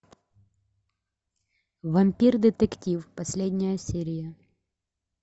вампир детектив последняя серия